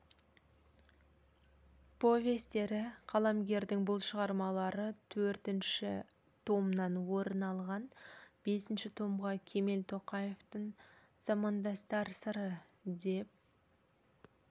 повестері қаламгердің бұл шығармалары төртінші томнан орын алған бесінші томға кемел тоқаевтың замандастар сыры деп